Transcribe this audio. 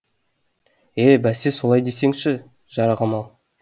е бәсе солай десеңші жарығым ау